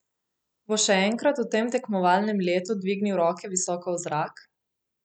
Bo še enkrat v tem tekmovalnem letu dvignil roke visoko v zrak?